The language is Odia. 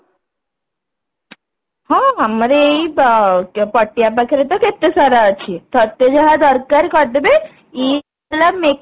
ହଁ ଆମର ଏଇ ପଟିଆ ପାଖେରେ ତ କେତେ ସାରା ଅଛି ତତେ ଯାହା ଦରକାର କରିଦେବେ ଇଦ ର makeup